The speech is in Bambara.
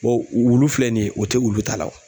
wulu filɛ nin ye o tɛ wulu ta la o